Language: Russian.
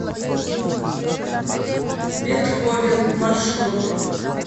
бетховен маршрут